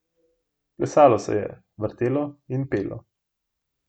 Plesalo se je, vrtelo in pelo.